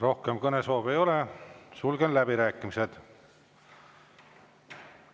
Rohkem kõnesoove ei ole, sulgen läbirääkimised.